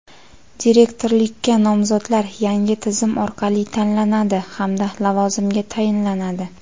direktorlikka nomzodlar yangi tizim orqali tanlanadi hamda lavozimga tayinlanadi.